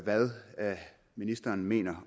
hvad ministeren mener